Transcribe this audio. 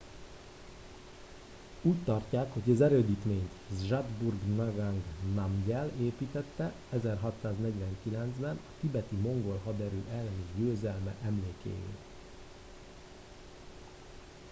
úgy tartják hogy az erődítményt zhabdrung ngawang namgyel építtette 1649 ben a tibeti mongol haderő elleni győzelme emlékéül